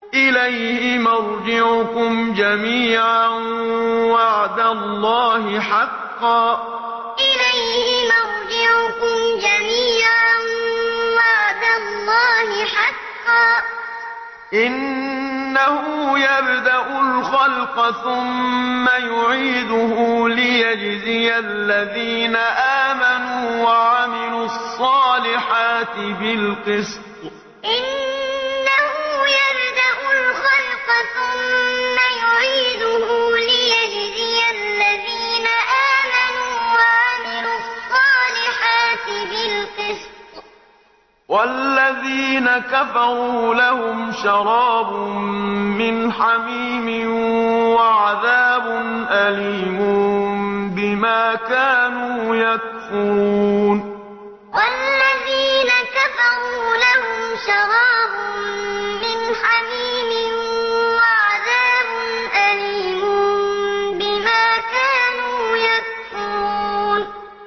إِلَيْهِ مَرْجِعُكُمْ جَمِيعًا ۖ وَعْدَ اللَّهِ حَقًّا ۚ إِنَّهُ يَبْدَأُ الْخَلْقَ ثُمَّ يُعِيدُهُ لِيَجْزِيَ الَّذِينَ آمَنُوا وَعَمِلُوا الصَّالِحَاتِ بِالْقِسْطِ ۚ وَالَّذِينَ كَفَرُوا لَهُمْ شَرَابٌ مِّنْ حَمِيمٍ وَعَذَابٌ أَلِيمٌ بِمَا كَانُوا يَكْفُرُونَ إِلَيْهِ مَرْجِعُكُمْ جَمِيعًا ۖ وَعْدَ اللَّهِ حَقًّا ۚ إِنَّهُ يَبْدَأُ الْخَلْقَ ثُمَّ يُعِيدُهُ لِيَجْزِيَ الَّذِينَ آمَنُوا وَعَمِلُوا الصَّالِحَاتِ بِالْقِسْطِ ۚ وَالَّذِينَ كَفَرُوا لَهُمْ شَرَابٌ مِّنْ حَمِيمٍ وَعَذَابٌ أَلِيمٌ بِمَا كَانُوا يَكْفُرُونَ